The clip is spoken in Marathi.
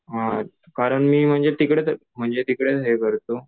हां कारण मी तिकडे तिकडे हे करतो